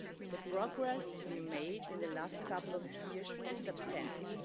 The progress we have made in the last couple of years is substantive.